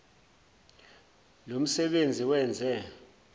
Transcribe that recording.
lo msebenzi wenze